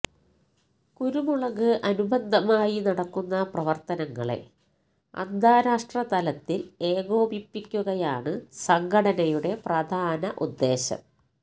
കുരുമുളക് അനുബന്ധമായി നടക്കുന്ന പ്രവര്ത്തനങ്ങളെ അന്താരാഷ്ട്ര തലത്തില് ഏകോപിപ്പിക്കുകയാണ് സംഘടനയുടെ പ്രധാന ഉദ്ദേശ്യം